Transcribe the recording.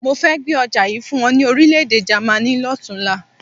Mo fẹ́ gbé ọjà yìí fún wọn ní Orílẹ̀-èdè Jàmaní lọ́tunla.